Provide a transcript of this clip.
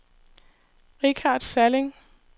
Richard Salling